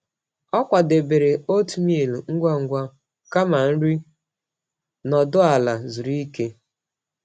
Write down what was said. Ọ kwadebere oatmeal ngwa ngwa kama nri nọdụ ala zuru oke.